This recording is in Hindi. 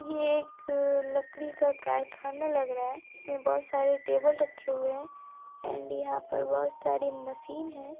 यह एक लकड़ी का कारखाना लग रहा है| इसमें बहुत सारे टेबल रखे हुए हैं एण्ड यहाँ पर बहुत सारे मशीन है।